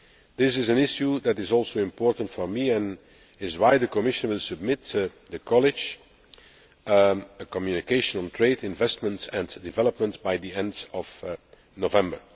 This is an issue that is also important for me and is why the Commission will submit to college a communication on trade, investment and development, by the end of November.